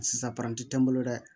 Sisan paranti tɛ n bolo dɛ